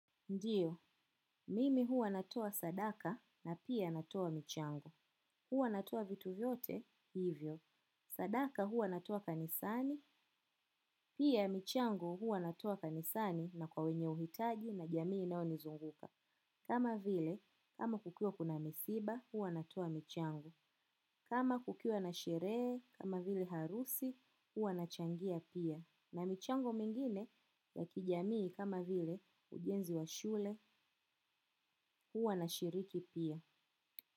Ndiyo, mimi huwa natoa sadaka na pia natoa michango. Huwa natoa vitu vyote, hivyo. Sadaka huwa natoa kanisani pia michango huwa natoa kanisani na kwenye uhitaji na jamii inayonizunguka. Kama vile, kama kukiwa kuna misiba, huwa natoa michango. Kama kukiwa na sherehe, kama vile harusi, huwa nachangia pia. Na michango mingine ya kijamii kama vile ujenzi wa shule huwa na shiriki pia.